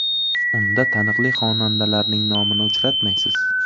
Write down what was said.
Unda taniqli xonandalarning nomini uchratmaysiz.